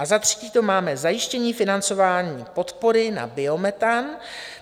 A za třetí tady máme zajištění financování podpory na biometan.